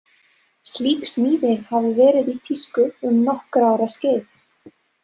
Slík smíði hafi verið í tísku um nokkurra ára skeið.